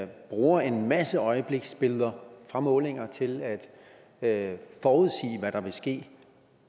bruger en masse øjebliksbilleder fra målinger til at forudsige hvad der vil ske